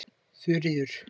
Þuríður